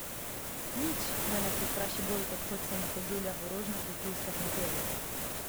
Nič me ne prestraši bolj kot hodci na hoduljah v rožnatih luskah in perju.